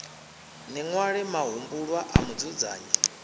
ni ṅwale mahumbulwa a mudzudzanyi